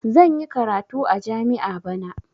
Zan yi karatu a jami'a bana.